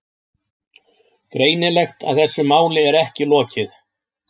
Greinilegt að þessu máli er ekki lokið.